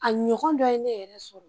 A ɲɔgɔn dɔ ye ne yɛrɛ sɔrɔ